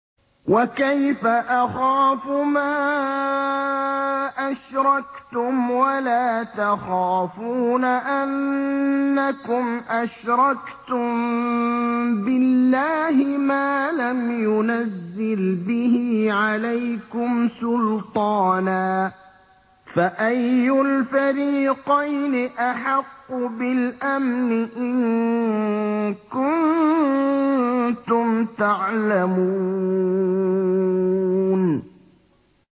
وَكَيْفَ أَخَافُ مَا أَشْرَكْتُمْ وَلَا تَخَافُونَ أَنَّكُمْ أَشْرَكْتُم بِاللَّهِ مَا لَمْ يُنَزِّلْ بِهِ عَلَيْكُمْ سُلْطَانًا ۚ فَأَيُّ الْفَرِيقَيْنِ أَحَقُّ بِالْأَمْنِ ۖ إِن كُنتُمْ تَعْلَمُونَ